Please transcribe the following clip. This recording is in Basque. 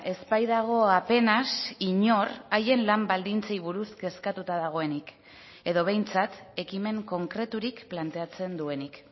ez baitago apenas inor haien lan baldintzei buruz kezkatuta dagoenik edo behintzat ekimen konkreturik planteatzen duenik